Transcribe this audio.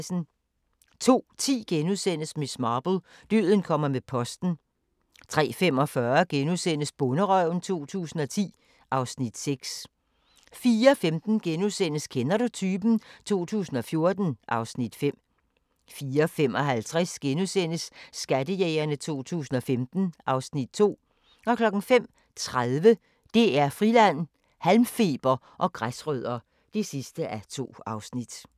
02:10: Miss Marple: Døden kommer med posten * 03:45: Bonderøven 2010 (Afs. 6)* 04:15: Kender du typen? 2014 (Afs. 5)* 04:55: Skattejægerne 2015 (Afs. 2)* 05:30: DR Friland: Halmfeber og græsrødder (2:2)